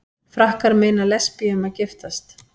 Frakkar meina lesbíum að giftast